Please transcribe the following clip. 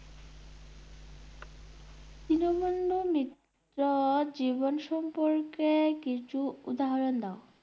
দীনবন্ধু মিত্রর জীবন সম্পর্কে কিছু উদাহরণ দাও ।